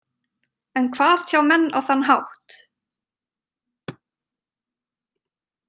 En hvað tjá menn á þann hátt?